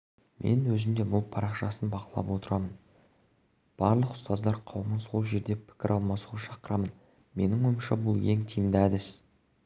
мен өзім де бұл парақшасын бақылап отырамын барлық ұстаздар қауымын сол жерде пікір алмасуға шақырамын менің ойымша бұл ең тиімді әдіс